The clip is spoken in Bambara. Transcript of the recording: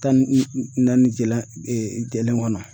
Tan ni naani jalan jɛlen kɔnɔ.